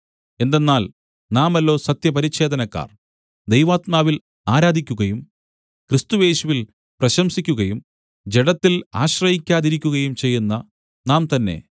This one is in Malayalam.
എന്തെന്നാൽ നാമല്ലോ സത്യപരിച്ഛേദനക്കാർ ദൈവാത്മാവിൽ ആരാധിക്കുകയും ക്രിസ്തുയേശുവിൽ പ്രശംസിക്കുകയും ജഡത്തിൽ ആശ്രയിക്കാതിരിക്കുകയും ചെയ്യുന്ന നാം തന്നെ